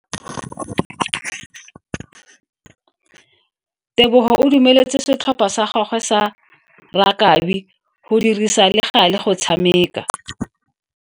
Tebogo o dumeletse setlhopha sa gagwe sa rakabi go dirisa le gale go tshameka.